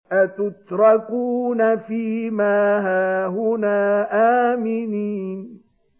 أَتُتْرَكُونَ فِي مَا هَاهُنَا آمِنِينَ